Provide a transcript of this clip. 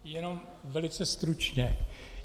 Jenom velice stručně.